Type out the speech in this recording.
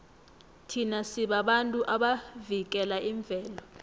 thina sibabantu abavikela imvelo